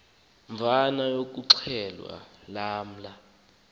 mvana yokuxhelwa lamla